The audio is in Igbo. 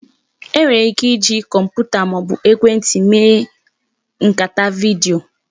E nwere ike iji kọmputa maọbu ekwentị mee nkata vidiyo